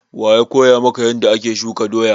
Wa ya koya maka yanda ake shuka doya?